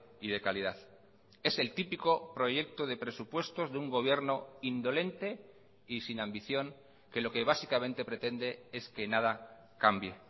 y de calidad es el típico proyecto de presupuestos de un gobierno indolente y sin ambición que lo que básicamente pretende es que nada cambie